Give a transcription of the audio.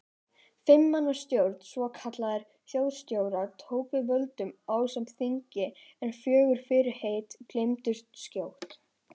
Fimm manna stjórn svokallaðra þjóðstjóra tók við völdum ásamt þingi en fögur fyrirheit gleymdust skjótt.